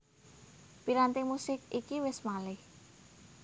Piranti musik iki wis malih